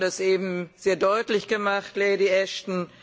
Sie haben das eben sehr deutlich gemacht, Lady Ashton.